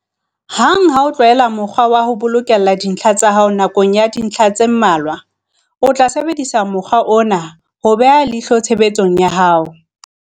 Hang ha o tlwaela mokgwa wa ho bokella dintlha tsa hao nakong ya dintlha tse mmalwa, o tla sebedisa mokgwa ona ho beha leihlo tshebetsong ya hao.